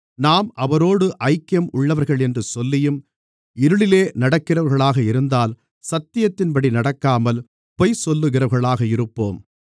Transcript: நாம் அவரோடு ஐக்கியம் உள்ளவர்களென்று சொல்லியும் இருளிலே நடக்கிறவர்களாக இருந்தால் சத்தியத்தின்படி நடக்காமல் பொய் சொல்லுகிறவர்களாக இருப்போம்